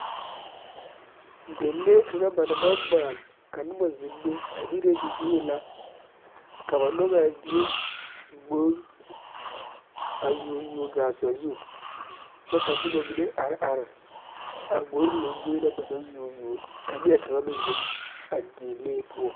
Dilee kaŋ ba naŋ maŋ maale ka noba zeŋ be ire libie la ka ba nyɔge a die gbori a yuo yuo gaa sazu kyɛ ka Nona mine are are a gbori lamboe na ba naŋ yuo yuo ka neɛkaŋa meŋ zeŋ a dilee poɔ